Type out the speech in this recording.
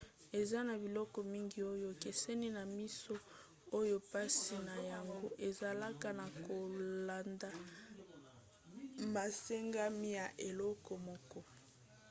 eza na biloko mingi oyo ekeseni na miso oyo mpasi na yango ezalaka na kolanda masengami ya eloko moko